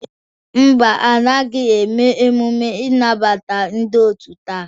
Ḿbà, anaghị eme emume ịnabata ndị otu taa.